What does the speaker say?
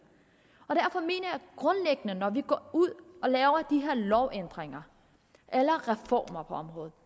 jeg når vi går ud og laver de her lovændringer eller reformer på området